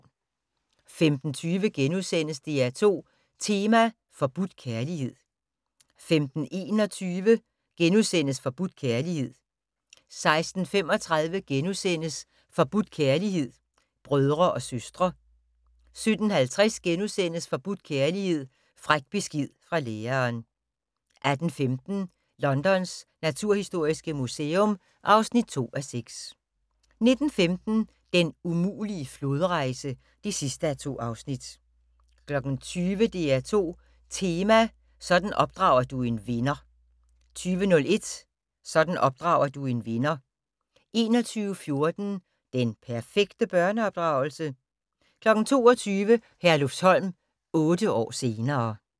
15:20: DR2 Tema: Forbudt kærlighed * 15:21: Forbudt kærlighed * 16:35: Forbudt kærlighed: Brødre og søstre * 17:50: Forbudt kærlighed: Fræk besked fra læreren * 18:15: Londons naturhistoriske museum (2:6) 19:15: Den umulige flodrejse (2:2) 20:00: DR2 Tema: Sådan opdrager du en vinder 20:01: Sådan opdrager du en vinder 21:14: Den perfekte børneopdragelse? 22:00: Herlufsholm - otte år senere ...